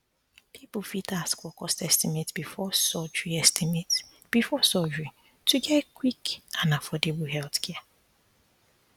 people fit ask for cost estimate before surgery estimate before surgery to get quick and affordable healthcare